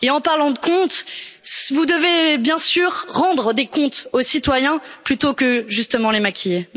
En parlant de comptes, vous devez bien sûr rendre des comptes aux citoyens plutôt que, justement, les maquiller.